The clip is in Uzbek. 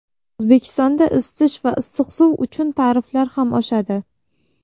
O‘zbekistonda isitish va issiq suv uchun tariflar ham oshadi.